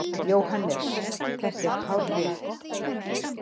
JÓHANNES: Þetta er hárrétt!